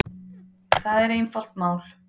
Það er einfalt mál